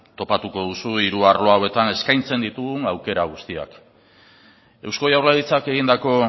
topatuko duzue hiru arlo hauetan eskaintzen ditugun aukera guztiak eusko jaurlaritzak egindako